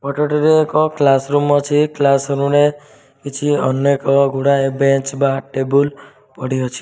ଫଟ ଟିରେ ଏକ classroom ଅଛି। କ୍ଲାସ୍ ରୁମ ରେ କିଛି ଅନେକ ଗୁଡ଼ାଏ ବେଞ୍ଚ ବା ଟେବୁଲ ପଡ଼ିଅଚି।